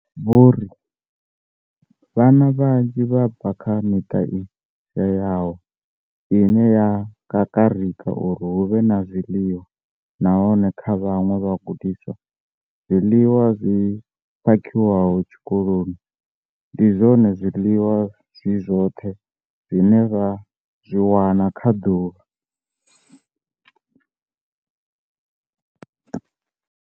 Vho ri vhana vhanzhi vha bva kha miṱa i shayaho ine ya kakarika uri hu vhe na zwiḽiwa, nahone kha vhaṅwe vhagudiswa, zwiḽiwa zwi phakhiwaho tshikoloni ndi zwone zwiḽiwa zwi zwoṱhe zwine vha zwi wana kha ḓuvha.